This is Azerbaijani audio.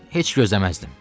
Heç gözləməzdim.